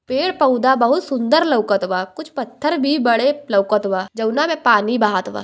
पेड़ पौधा बहुत सुन्दर लउकत बा कुछ पत्थर भी बड़े लउकत बा जाऊना में पानी बहत बा।